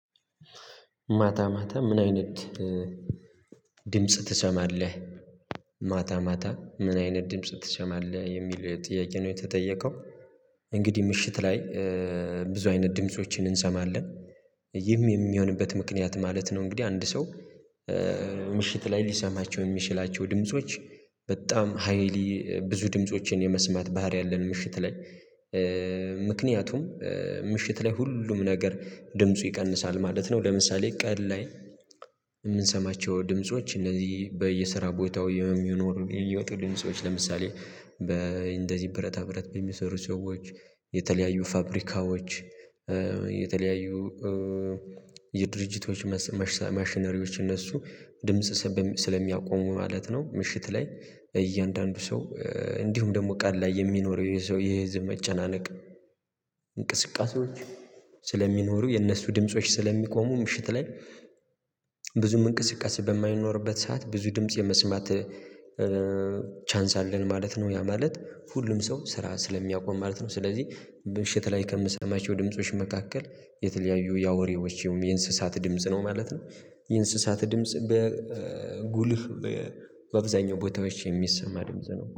ማታ ማታ ምን አይነት ድምጽ ትሰማለህ? ማታ ማታ ምን አይነት ድምጽ ትሰማለህ የሚል ጥያቄ ነው የተጠየቀው። እንግዲህ ምሽት ላይ ብዙ አይነት ድምፆችን እንሰማለን ይህም የሚሆንበት ምክንያት ማለት ነው። እንግዲህ አንድ ሰው ምሽት ላይ ሊሰማቸው የሚችላቸው ድምጾች በጣም ሃይሊ ብዙ ድምፆችን የመስማት ባህሪ ያለን ምሽት ላይ ምክንያቱም ምሽት ላይ ሁሉም ነገር ድምፁ ይቀንሳል ማለት ነው። ለምሳሌ ቀን ላይ የምንሰማቸው ድምጾች እንደዚህ በየስራ ቦታው የሚኖሩ የሚወጡ ድምጾች ለምሳሌ በእንደዚህ ብረታ ብረት በሚሰሩ ሰዎች የተለያዩ ፋብሪካዎች የተለያዩ የድርጅቶች ማሽነሪዎች እነሱ ድምጽ ስለሚያቆሙ ማለት ነው። ምሽት ላይ እያንዳንዱ ሰው እንዲሁም ደግሞ ቀን ላይ የሚኖረው የሰው የህዝብ መጨናነቅ እንቅስቃሴዎች ስለሚኖሩ የእነሱ ድምጾች ስለሚቆሙ ምሽት ላይ ብዙም እንቅስቃሴ በማይኖርበት ሰዓት ብዙ ድምጽ የመስማት ቻንስ አለን ማለት ነው ያ ማለት ሁሉም ሰው ስራ ስለሚያቆም ማለት ነው። ስለዚህ በምሽት ላይ ከምሰማቸው ድምጾች መካከል የተለያዩ ያውሬዎች ይሁን የእንስሳት ድምጽ ነው ማለት ነው የእንስሳት ድምጽ በጉልህ በአብዛኛው ቦታዎች የሚሰማ ድምጽ ነው